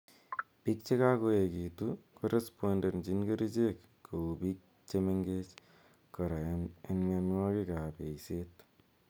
Piik che kakoekitu korespondenchin kerichek kou piik che mengechen kora eng' mianwokik ap eiset